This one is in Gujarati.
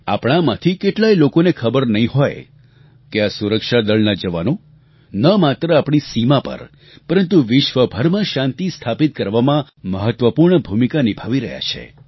આપણામાંથી કેટલાય લોકોને ખબર નહીં હોય કે આપણા સુરક્ષાદળના જવાનો ન માત્ર આપણી સીમા પર પરંતુ વિશ્વભરમાં શાંતિ સ્થાપિત કરવામાં મહત્વપૂર્ણ ભૂમિકા નિભાવી રહ્યા છે